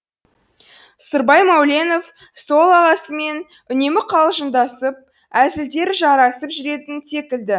сырбай мәуленов сол ағасымен үнемі қалжыңдасып әзілдері жарасып жүретін секілді